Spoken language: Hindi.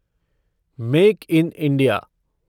make in India